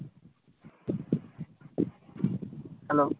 Hello